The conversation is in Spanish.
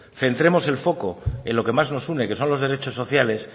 centremos el foco en lo que más nos une que son los derechos sociales